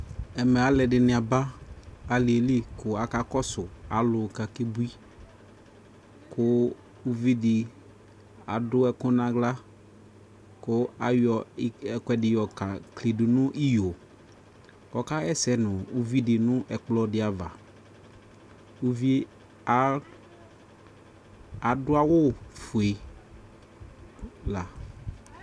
Ɛmɛ aluɛdini aba aliɛli ku aka kɔsu alu kakebui ku uvidii adu ɛku naɣla ku ayɔɛkuɛdi yɔka klidu nii iyo kɔkaɣɛsɛ nuu uvidi nuu ɛkplɔ diava Uvie aa aduawu fue la